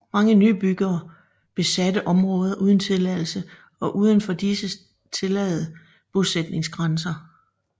Mange nybyggere besatte områder uden tilladelse og udenfor disse tillade bosætningsgrænser